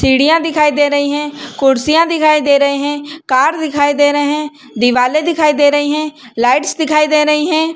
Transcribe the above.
चिड़िया दिखाई दे रही है कुर्सियां दिखाई दे रहे है कार दिखाई दे रहे है दीवाले दिखाई दे रही है लाइट्स दिखाई दे रही है।